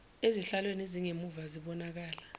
ezihlalweni ezingemumva zibonakala